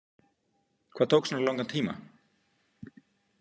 Hvað tók svona langan tíma?